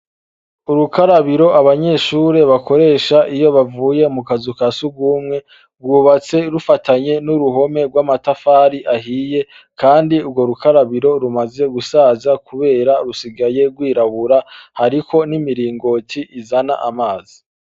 Urukarabiro abanyeshure bakoresha iyo bavuye mu kazu ka surwumwe, rwubatse bufatanye n' uruhome rw' amatafari ahiye, kandi urwo rukarabiro rumaze gusaza kubera rusigaye rwirabura, hariko n' imiringoti izana amazi.